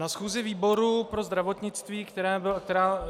Na schůzi výboru pro zdravotnictví, která byla -